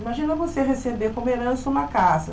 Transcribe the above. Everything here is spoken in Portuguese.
Imagina você receber como herança uma casa.